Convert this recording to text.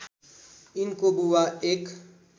यिनको बुबा एक